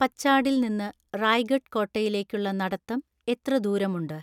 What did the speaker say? പച്ചാഡിൽ നിന്ന് റായ്ഗഡ് കോട്ടയിലേക്കുള്ള നടത്തം എത്ര ദൂരമുണ്ട്